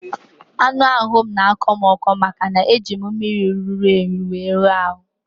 Anụ ahụ m n'akọ m ọkọ maka na e jiri mmiri ruru únyí were wụọ ahụ